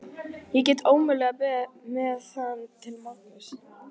Ég get ómögulega beðið með það til morguns.